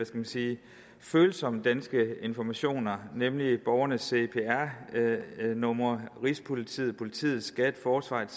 man sige følsomme danske informationer nemlig borgernes cpr nummer oplysninger rigspolitiet skat forsvaret